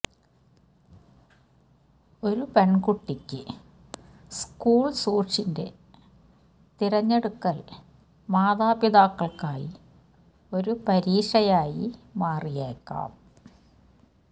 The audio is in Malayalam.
ഒരു പെൺകുട്ടിക്ക് സ്കൂൾ ഷൂസിന്റെ തിരഞ്ഞെടുക്കൽ മാതാപിതാക്കൾക്കായി ഒരു പരീക്ഷയായി മാറിയേക്കാം